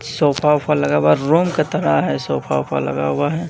Sofa वोफा लगा हुआ रूम के तरह है सोफा वोफा लगा हुआ है।